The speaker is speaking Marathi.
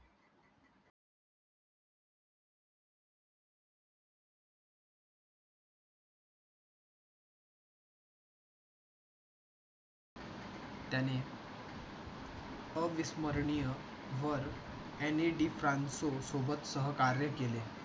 त्याने अविस्मरणीय वर NAD ट्रान्सो सोबत सहकार्य केले.